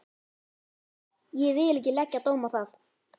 Ég vil ekki leggja dóm á það.